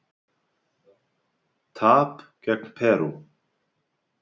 Tap gegn Perú